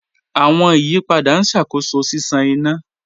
Awọn iyipada n ṣakoso ṣiṣan ina.